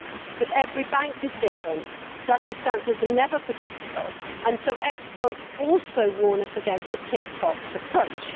But every bank is different, circumstances are never predictable and so experts also warn us against the tick the box approach.